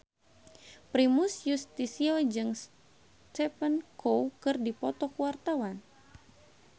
Primus Yustisio jeung Stephen Chow keur dipoto ku wartawan